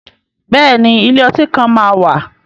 Bẹ́ẹ̀ ni, ilé ọtí kan máa wà.